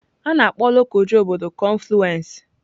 A na-akpọ Lokoja obodo kọnfluensị.